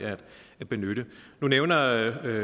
at benytte nu nævner